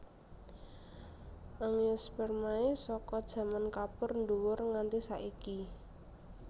Angiospermae saka jaman Kapur nDuwur nganti saiki